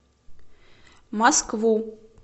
москву